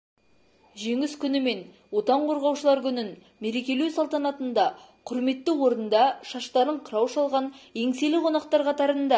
жеңіс күні мен отан қорғаушылар күнін мерекелеу салтанатында құрметті орында шаштарын қырау шалған еңселі қонақтар қатарында